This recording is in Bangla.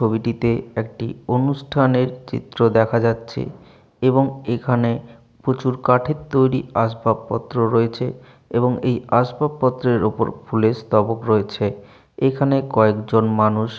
ছবিটিতে একটী অনুষ্ঠানের চিত্র দেখা যাচ্ছে এবং এখানে প্রচুঊর কাঠের তৈরী আসবাব পত্র রয়েছে এবং এই আসবাব পত্রের ওপর ফুলের স্তবক রয়েয়েছে এইখানে কয়েকজোন মানুষ